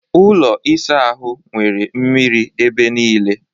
Ụlọ ịsa ahụ nwere mmiri ebe niile